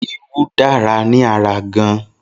Irú dára ni ará gan.